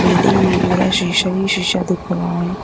Building में पूरा शीशा ही शीशा दिख रहा है।